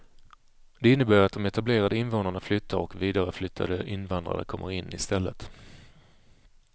Det innebär att de etablerade invånarna flyttar och vidareflyttade invandrare kommer in istället.